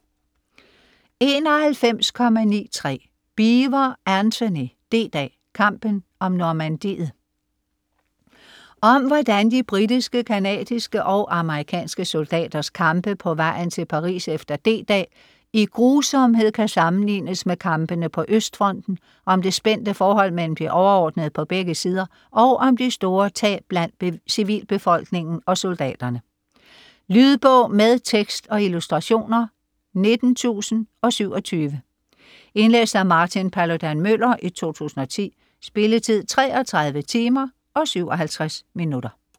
91.93 Beevor, Antony: D-dag: kampen om Normandiet Om hvordan de britiske, canadiske og amerikanske soldaters kampe på vejen til Paris efter D-dag i grusomhed kan sammenlignes med kampene på østfronten, om det spændte forhold mellem de overordnede på begge sider og om de store tab blandt civilbefolkningen og soldaterne. Lydbog med tekst og illustrationer 19027 Indlæst af Martin Paludan-Müller, 2010. Spilletid: 33 timer, 57 minutter.